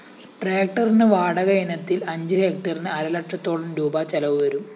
ട്രാക്ടറിന് വാടക ഇനത്തില്‍ അഞ്ച് ഹെക്ടറിന് അരലക്ഷത്തോളം രൂപാ ചിലവുവരും